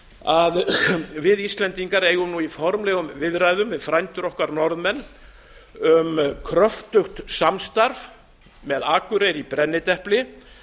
að við íslendingar eigum nú í formlegum viðræðum við frændur okkar norðmenn um kröftugt samstarf með akureyri í brennidepli